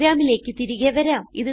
പ്രോഗ്രാമിലേക്ക് തിരികെ വരാം